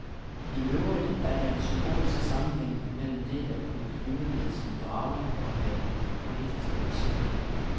I øvrigt er der en symbolsk sammenhæng mellem det at kunne flyve med sin drage og at have politiske visioner.